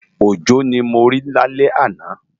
Ojo ni mó ri lálè àná